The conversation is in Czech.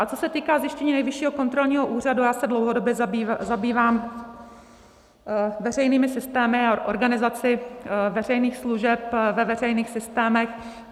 A co se týká zjištění Nejvyššího kontrolního úřadu, já se dlouhodobě zabývám veřejnými systémy a organizaci veřejných služeb ve veřejných systémech.